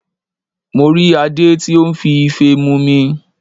Mo rí Adé tí ó n fi Ife mumi